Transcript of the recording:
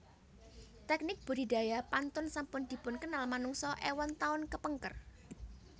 Teknik budidaya pantun sampun dipunkenal manungsa éwon taun kepengker